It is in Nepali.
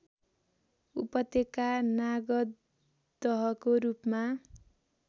उपत्यका नागदहको रूपमा